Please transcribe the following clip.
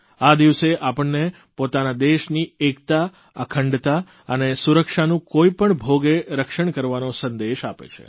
આ દિવસ આપણને પોતાના દેશની એકતા અખંડતા અને સુરક્ષાનું કોઇપણ ભોગે રક્ષણ કરવાનો સંદેશ આપે છે